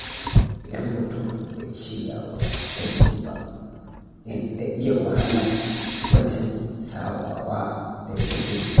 Idan mutum bai shirya wa canji ba, yana iya wahala wajen sabawa da yanayi.